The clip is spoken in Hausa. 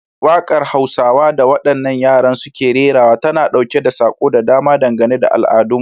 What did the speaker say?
Wakar Hausawa da wadannan yaran suke rerawa tana dauke da sako da dama dangane da al'adunmu.